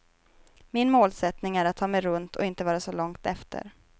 Min målsättning är att ta mig runt och inte vara så långt efter.